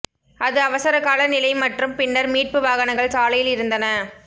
அது அவசரகால நிலை மற்றும் பின்னர் மீட்பு வாகனங்கள் சாலையில் இருந்தன